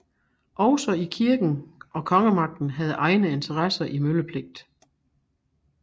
Også kirken og kongemagten havde egne interesser i møllepligt